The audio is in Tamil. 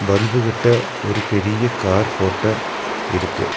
பருபு கிட்ட ஒரு பெரிய கார் போட்டோ இருக்கு.